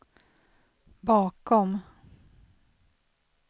bakom